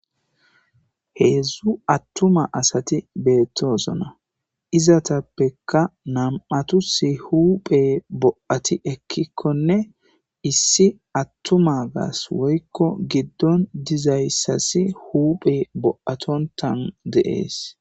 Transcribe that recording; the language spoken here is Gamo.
Hezzu atuma asati othosona izataska nam'tas huphey bo'tti ekikokkonne issi atumagas woykko gidon dizayssas huphey bo'ttontan de's